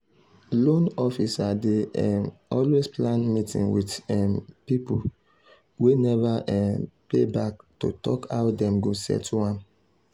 loan officer dey um always plan meeting with um people wey never um pay back to talk how dem go settle am.